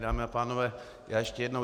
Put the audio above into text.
Dámy a pánové, já ještě jednou.